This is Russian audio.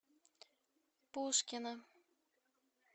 пушкино